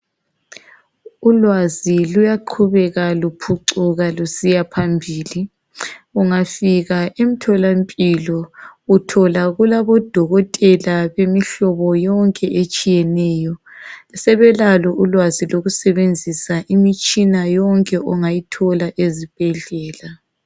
Ulwazi luyaqhubeka luphucuka lusiya phambili. Ungafika emtholampilo uthola kulabodokotela bemihlobo yonke etshiyeneyo. Sebelalo ulwazi lokusebenzisa imitshina yonke ongayithola ezibhedlela.